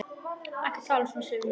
Ekki tala svona, Sif mín!